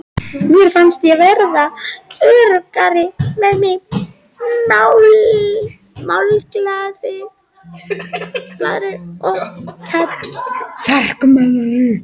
Mér fannst ég verða öruggari með mig, málglaðari og kjarkmeiri.